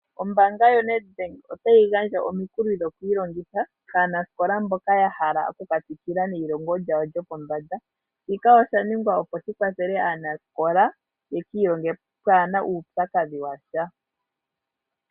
Ombanga yoNed Bank otayi gandja omukuli gokwiilongitha aanasikola mboka ya hala okuka tsikila neyilongo lyawo lyopombanda shika osha ningwa opo shikwathele aanasikola ye kiilonge pwaana uupyakadhi wa sha.